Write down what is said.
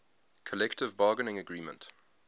collective bargaining agreement